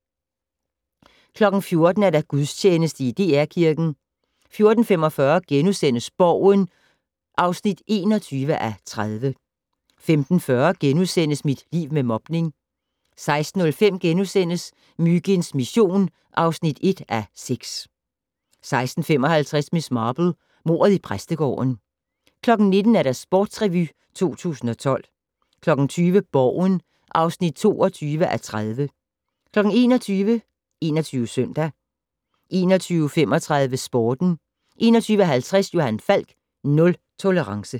14:00: Gudstjeneste i DR Kirken 14:45: Borgen (21:30)* 15:40: Mit liv med mobning * 16:05: Myginds mission (1:6)* 16:55: Miss Marple: Mordet i præstegården 19:00: Sportsrevy 2012 20:00: Borgen (22:30) 21:00: 21 Søndag 21:35: Sporten 21:50: Johan Falk: Nul tolerance